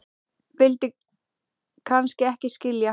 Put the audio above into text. vildi kannski ekki skilja